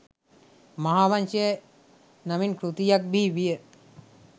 මහාවංශය නමින් කෘතියක් බිහිවිය.